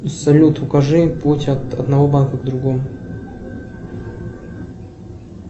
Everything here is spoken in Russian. салют укажи путь от одного банка к другому